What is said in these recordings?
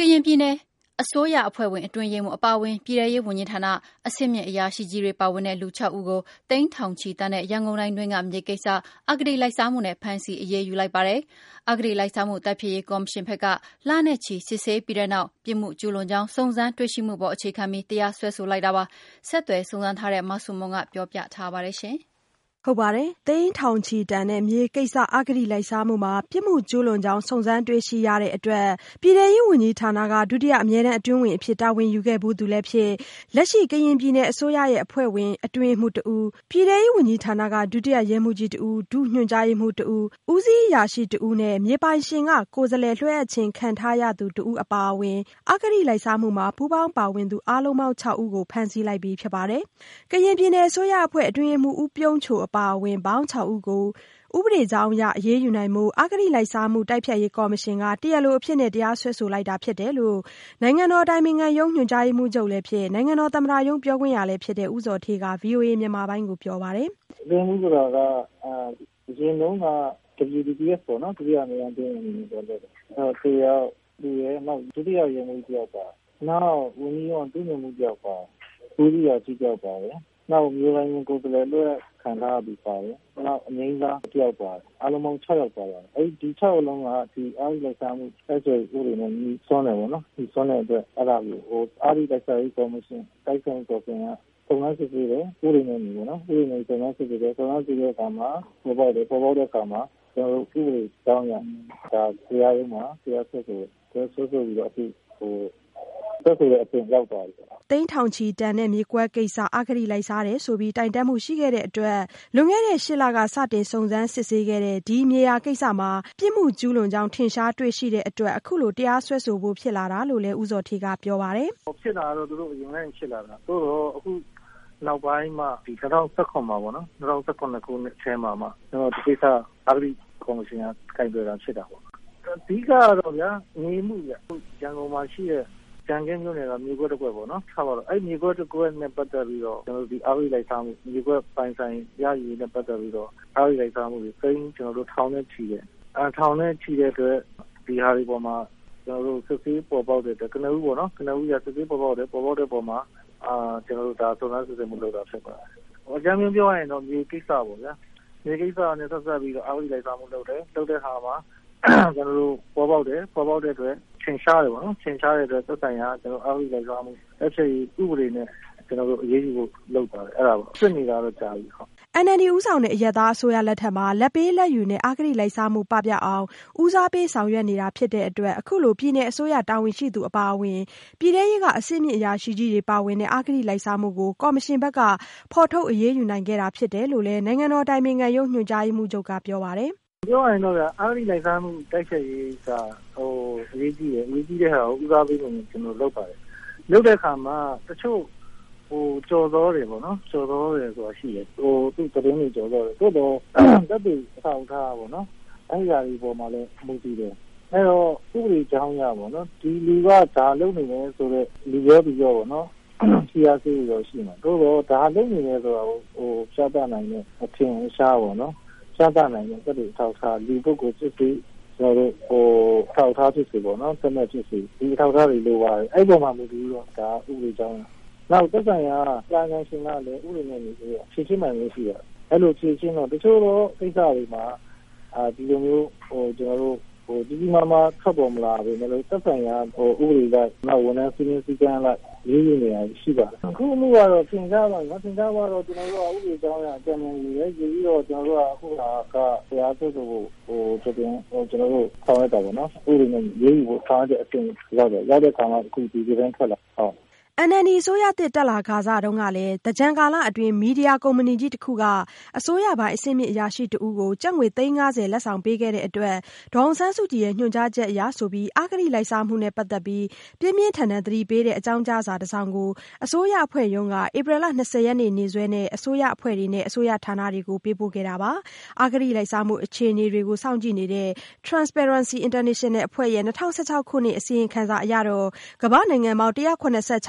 ကရင်ပြည်နယ်အစိုးရအဖွဲ့ဝင် အတွင်းရေးမှူးအပါအဝင် ပြည်ထဲရေးဝန်ကြီးဌာန၊ အဆင့်မြင့်အရာရှိကြီးတွေ ပါဝင်တဲ့လူခြောက်ဦးကို သိန်းထောင်ချီတန်တဲ့ ရန်ကုန်တိုင်းတွင်းက မြေကိစ္စ အဂတိလိုက်စားမှုနဲ့ ဖမ်းဆီး အရေးယူလိုက်ပါတယ်။အဂတိလိုက်စားမှု တိုက်ဖျက်ရေးကော်မရှင်ဘက်က လနဲ့ချီစစ်ဆေးပြီးတဲ့နောက် ပြစ်မှုကျူးလွန်ကြောင်း စုံစမ်းတွေ့ရှိမှုအပေါ် အခြေခံပြီး တရားစွဲလိုက်တာဖြစ်ပါတယ်။ ဆက်သွယ်စုံစမ်းထားတဲ့ မဆုမွန် ဆက်ပြောပြပါမယ်။ သိန်းထောင်ချီတန်တဲ့မြေကိစ္စ အဂတိလိုက်စားမှုမှာ ပြစ်မှုကျူးလွန်ကြောင်း စုံစမ်းတွေ့ရှိရတဲ့အတွက် ပြည်ထဲရေးဝန်ကြီးဌာနမှာ ဒုတိယအမြဲတန်း အတွင်းဝန်အဖြစ် တာဝန်ယူခဲ့ဖူးသူလည်းဖြစ် ကရင်ပြည်နယ်အစိုးရအဖွဲ့ဝင် အတွင်းရေးမှူးတဦး၊ ပြည်ထဲရေးဝန်ကြီးဌာနက ဒုတိယရဲမှူးကြီးတဦး၊ ဒုညွှန်ကြားရေးမှူးတဦး၊ ဦးစီးအရာရှိတဦးအပါအဝင် မြေပိုင်ရှင်က ကိုယ်စားလှယ်လွှဲအပ်ခြင်းခံထားရသူတဦးအပါအဝင် အဂတိလိုက်စားမှုမှာ ပူးပေါင်းပါဝင်သူ အားလုံးပေါင်းခြောက်ဦးကို ဖမ်းဆီးလိုက်ပြီဖြစ်ပါတယ်။ ကရင်ပြည်နယ်အစိုးရအဖွဲ့ အတွင်းရေးမှူး ဦးပြုံးချိုအပါအဝင် ပေါင်းခြောက်ဦးကို ဥပဒေကြောင်းအရ အရေးယူနိုင်ဖို့ အဂတိလိုက်စားမှုတိုက်ဖျက်ရေးကော်မရှင်က တရားလိုအဖြစ်နဲ့ တရားစွဲဆိုလိုက်ပြီလို့ နိုင်ငံတော်အတိုင်ပင်ခံရုံး ညွှန်ကြားရေးမှူးချုပ်လည်းဖြစ် နိုင်ငံတော်သမ္မတရုံးပြောခွင့်ရလည်းဖြစ်တဲ့ ဦးဇော်ဌေးက ဗွီအိုအေမြန်မာပိုင်းကိုပြောပါတယ်။ “အတွင်းရေးမှူးဆိုတာက တချိန်တုန်းက ဒုတိယအမြဲတန်းအတွင်းဝန်တဦး၊ တယောက် သူရယ် နောက် ဒုတိယရဲမှူးကြီးတဦး၊ နောက် ဝန်ကြီးရုံးက ဒုညွှန်ကြားရေးမှူးတဦးပါတယ်၊ ဦးစီးအရာရှိတဦးပါတယ် နောက် မြေပိုင်ရှင်က ကိုယ်စားလှယ်လွှဲအပ်ခြင်းခံထားရသူ ပါတယ် နောက် အငြိမ်းစားတယောက်ပါတယ်။ အားလုံးပေါင်း ၆ ယောက် ပါပါတယ်။ ဒီ ၆ ယောက်လုံးက အဂတိလိုက်စားမှုမှာ အက်ဥပဒေနဲ့ ငြိစွန်းတယ်ပေါ့နော်၊ ငြိစွန်းတဲ့အတွက် အဲ့တာတွေကို အဂတိလိုက်စားမှုတိုက်ဖျက်ရေးကော်မတီက ဥပဒေနဲ့အညီ စုံစမ်းစစ်ဆေးတယ်။ စုံစမ်းတဲ့အခါမှာ ပေါ်ပေါက်တယ်၊ ပေါ်ပေါက်တဲ့အခါမှာ ကျနော်တို့ ဥပဒေအကြောင်းအရ တရားရုံးမှာ တရားစွဲဆိုတယ်။ အခု စွဲဆိုတဲ့အဆင့်ရောက်သွားပြီပေါ့နော်။” သိန်းထောင်ချီတန်တဲ့မြေကွက်ကိစ္စ အဂတိလိုက်စားတယ်ဆိုပြီး တိုင်တန်းမှုရှိခဲ့တဲ့အတွက် လွန်ခဲ့တဲ့ ၈လက စတင်စုံစမ်းစစ်ဆေးခဲ့တဲ့ ဒီမြေယာကိစ္စမှာ ပြစ်မှုကျူးလွန်ကြောင်း ထင်ရှားတွေ့ရှိတဲ့အတွက် အခုလို တရားစွဲဆိုဖို့ဖြစ်လာတာလို့လည်း ဦးဇော်ဌေးကပြောပါတယ်။ " ဖြစ်တာကတော့ သူတို့လွန်ခဲ့တဲ့ ၈လကပေါ့။ အခုနောက်ပိုင်းမှာ ၂၀၁၇ နောက်ပိုင်းမှာမှ ကျနော်တို့ အဂတိလိုက်စားမှုကော်မရှင်က ကိုင်တွယ်တာဖြစ်တာပေါ့။ အဓိကကတော့ဗျာ မြေမှုပေါ့ ရန်ကုန်မှာ ရှိတဲ့ မြေကွက် တကွက်ကိစ္စပေါ့။ အဲ့ေ့မြကွက်ကိစ္စနဲ့ပတ်သက်ပြီး ကျနော်တို့ အဂတိလိုက်စားမှု မြေကွက်ပိုင်ဆိုင် ရယူရေးနဲ့ပတ်သက်ပြီးတော့ သိန်းထောင်နဲ့ချီတယ် သိန်းထောင်နဲ့ချီတဲ့အတွက် ဒီဟာတွေအပေါ်မှာ စစ်ဆေးပေါ်ပေါက်တဲ့အတွက် ကနဦးအရ ပေါ်ပေါက်တဲ့အတွက် ကျနော်တို့ ဒါကို စုံစမ်းစစ်ဆေးမှု လုပ်တာဖြစ်ပါတယ်။ အကြမ်းဖျင်းပြောရရင်တော့ မြေကိစ္စပေါ့ဗျာ မြေကိစ္စနဲ့ပတ်သက်ပြီး စုံစမ်းစစ်ဆေးမှုလုပ်တယ် စုံစမ်းတဲ့အခါမှာ ပေါ်ပေါက်တယ် ပေါ်ပေါက်တဲ့အတွက် ပေါ်ပေါက်တဲ့အခါ ထင်ရှားတယ် ထင်ရှားတဲ့အတွက် သက်ဆိုင်ရာက အဂတိလိုက်စားမှု တိုက်ဖျက်ရေးဥပဒေနဲ့အရေးယူဖို့ ဖြစ်ပါတယ် ဖြစ်နေတာတော့ကြာပြီ။" NLD ဦးဆောင်တဲ့အရပ်သားအစိုးရလက်ထက်မှာ လာဘ်ပေးလာဘ်ယူနဲ့ အဂတိလိုက်စားမှု ပပျောက်အောင် ဦးစားပေး ဆောင်ရွက်နေတာဖြစ်တဲ့အတွက် အခုလို ပြည်နယ်အစိုးရတာဝန်ရှိသူတဦးအပါအဝင် ပြည်ထဲရေးက အဆင့်မြင့်အရာရှိကြီးတွေပါဝင်တဲ့ အဂတိလိုက်စားမှုကို ကော်မရှင်ဘက်က ဖော်ထုတ်အရေးယူခဲ့တာဖြစ်တယ်လို့လည်း နိုင်ငံတော်အတိုင်ပင်ခံရုံး ညွှန်ကြားရေးမှူးချုပ်က ပြောပါတယ်။ “ပြောရရင်တော့ အဂတိလိုက်စားမှုတိုက်ဖျက်ရေးက အရေးကြီးတယ် ၊ အရေးကြီးတဲ့ဟာကို ဦးစားပေးအနေနဲ့ ကျနော်တို့လုပ်ပါတယ်။ တချို့ကျော်ဇောတွေဆိုတာရှိတယ် သတင်းတွေ ကျော်ဇောတယ်။ သို့သော် သက်သေအထောက်အထားပေါ့နော် အဲဒါတွေမှာလည်း မူတည်တယ်။ အဲဒီတော့ ဥပဒေကြောင်းအရပေါ့နော် ဒီလူက ဒါလုပ်တယ် ဆိုတာ လူပြောသူပြော ဖိအားပေးတွေတော့ရှိတယ်။ သို့သော် ဒါလုပ်နေတယ်ဆိုတာကို ပြောပြနိုင်တဲ့ အထင်အရှား ပြနိုင်တဲ့ သက်သေအထောက်အထား ပေါ့နော် လူပုဂ္ဂိုလ်ဖြစ်စေ၊ ပစ္စည်းဖြစ်စေ ပြသနိုင်တဲ့ အထောက်အထား ဒါတွေလိုပါတယ် အဲဒီအပေါ်မှာ မူတည်ပြီးတော့ ဥပဒေကြောင်းအရ။ နောက် သက်ဆိုင်ရာ ကာယကံရှင်ကလည်း ဥပဒေနဲ့အညီ ဖြေရှင်းပိုင်ခွင့်ရှိတယ် ။ အဲလိုဖြေရှင်းတော့ တချို့သောကိစ္စတွေမှာ ကျနော်တို့ ကြီးကြီးမားမားထွက်ပေါ်မလာပေမယ့်လို့ သက်ဆိုင်ရာ ဥပဒေအလိုက် ဝန်ထမ်းစည်းမျဉ်းစည်းကမ်းအလိုက် အရေးယူနေတာရှိပါတယ်။ အခုအမှုကတော့ ထင်ရှားသွားတာပေါ့နော်။ ထင်ရှားသွားတော့ ကျနော်တို့က ဥပဒေကြောင်းအရ အကြံဉာဏ်ယူတယ် ။ ယူပြီးတော့ တရားစွဲဆိုဖို့ ဥပဒေနဲ့ အညီ အရေးယူဖို့ ကျနော်တို့ဆောင်ရွက်တာပေါ့နော်။ ဒီလိုဆောင်ရွက်တဲ့အဆင့်ရောက်တယ် ရောက်တဲ့အခါမှာ ဒီလိုထွက်လာတယ်။” NLD အစိုးရသစ်တက်ခါစတုန်းကလည်း သင်္ကြန်ကာလအတွင်း မီဒီယာကုမ္ပဏီကြီးတစ်ခုက အစိုးရပိုင်း အဆင့်မြင့်အရာရှိ တဦးကို ကျပ်ငွေ သိန်း ၅၀ လက်ဆောင်ပေးခဲ့တဲ့အတွက် ဒေါ်အောင်ဆန်းစုကြည်ရဲ့ ညွှန်ကြားချက်အရဆိုပြီး အဂတိလိုက်စားမှုနဲ့ပတ်သက်ပြီး ပြင်းပြင်းထန်ထန်အသိပေးတဲ့ အကြောင်းကြားစာတစောင်ကို အစိုးရအဖွဲ့ရုံးက ဧပြီလ ၂၀ ရက်နေ့စွဲနဲ့ အစိုးရအဖွဲ့တွေနဲ့ အစိုးရဌာနတွေကို ပေးပို့ခဲ့တာပါ။ အဂတိလိုက်စားမှု အခြေအနေတွေကို စောင့်ကြည့်နေတဲ့ Transparency International အဖွဲ့ရဲ့ ၂၀၁၆ ခုနှစ် အစီရင်ခံစာအရတော့ ကမ္ဘာ့နိုင်ငံပေါင်း ၁၇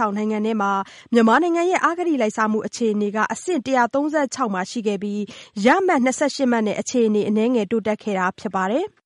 ၆နိုင်ငံထဲမှာ မြန်မာနိုင်ငံရဲ့ အဂတိလိုက်စားမှု အခြေအနေက အဆင့် ၁၃၆ ရှိခဲ့ပြီး ရမှတ် ၂၈မှတ်နဲ့ အခြေအနေ အနည်းငယ်တိုးတက်ခဲ့တာဖြစ်ပါတယ်။